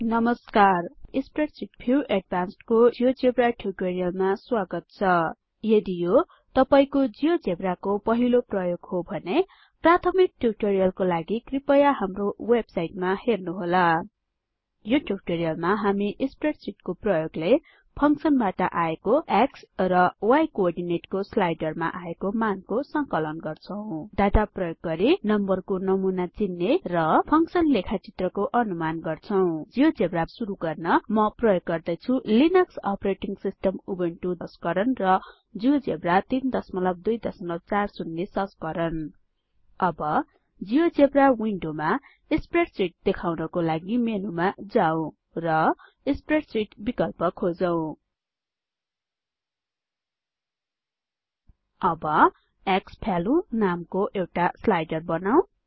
नमस्कार spreadsheet view advancedको यो जियोजेब्रा ट्युटोरिअलमा स्वागत छ यदि यो तपाइँको जियोजेब्राको पहिलो प्रयोग हो भने प्राथमिक ट्युटोरिअलहरुको लागि कृपया हाम्रो वेबसाइटमा हेर्नुहोला यो ट्युटोरिअलमा हामी स्प्रेडशीट को प्रयोगले functionबाट आएको X र Y कोओर्डीनेटको स्लाइडरबाट आएको मानको संकलन गर्छौं डाटा प्रयोग गरि numberको नमुना चिन्ने र फंक्शन लेखा चित्रको अनुमान गर्छौं जियोजेब्रा सुरु गर्न म प्रयोग गर्दै छु Linux operating system Ubuntu 1004 LTS संस्करण र जियोजेब्रा 3240 संस्करण अब जियोजेब्रा विन्डोमा स्प्रेडशीट देखाउनाको लागि मेनुमा जाउँ र स्प्रेडशीट विकल्प खोजौँ अब क्सवाल्यु नामको एउटा स्लाइडर बनौँ